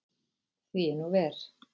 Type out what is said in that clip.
Því er nú ver.